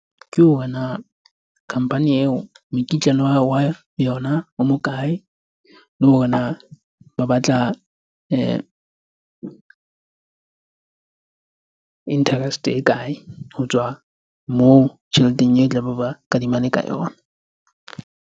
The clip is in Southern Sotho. Ke hore na company eo mekitlane wa yona o mokae? Le hore na ba batla interest-e e kae ho tswa moo tjheleteng e tlabe ba kadimane ka yona.